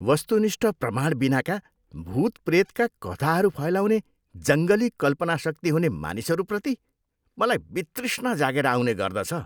वस्तुनिष्ठ प्रमाणबिनाका भुत प्रेतका कथाहरू फैलाउने जङ्गली कल्पनाशक्ति हुने मानिसहरूप्रति मलाई वितृष्णा जागेर आउने गर्दछ।